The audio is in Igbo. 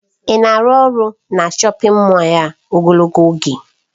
Ị na-arụ ọrụ na shọpin Mọll a ogologo oge?